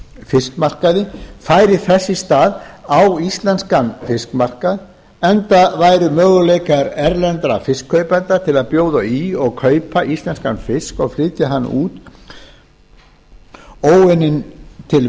fiskmarkaði færi þess í stað á íslenskan fiskmarkað enda væru möguleikar erlendra fiskkaupenda til að bjóða í og kaupa íslenskan fisk og flytja hann út óunninn til